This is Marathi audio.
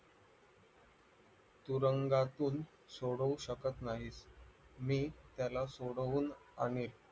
तुरुंगातून सोडवू शकत नाही मी त्याला सोडवून आणि